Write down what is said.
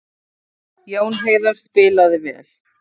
Jón Heiðar spilaði vel